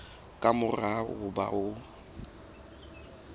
ka mora ho ba o